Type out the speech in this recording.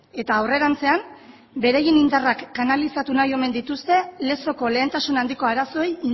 eta aurrerantzean beraien indarrak kanalizatu nahi omen dituzte lezoko lehentasun handiko arazoei